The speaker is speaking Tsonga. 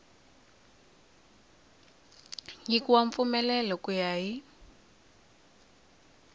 nyikiwa mpfumelelo ku ya hi